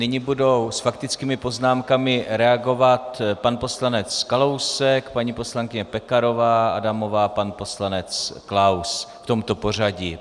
Nyní budou s faktickými poznámkami reagovat pan poslanec Kalousek, paní poslankyně Pekarová Adamová, pan poslanec Klaus v tomto pořadí.